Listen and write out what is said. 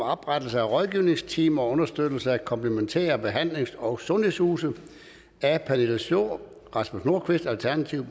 oprettelse af rådgivningsteam og understøttelse af komplementære behandlings og sundhedshuse af pernille schnoor og rasmus nordqvist alternativet